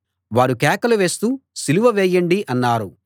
వారు కేకలు వేస్తూ సిలువ వేయండి అన్నారు